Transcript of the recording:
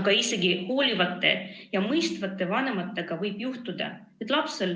Aga isegi hoolivate ja mõistvate vanemate korral võib juhtuda, et lapsel